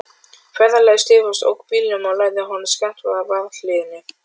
Ferðafélagi Stefáns ók bílnum og lagði honum skammt frá varðhliðinu.